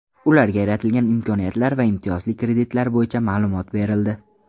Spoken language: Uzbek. Ularga yaratilgan imkoniyatlar va imtiyozli kreditlar bo‘yicha ma’lumotlar berildi.